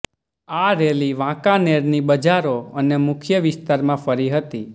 આ રેલી વાંકાનેરની બજારો અને મુખ્ય વિસ્તારમાં ફરી હતી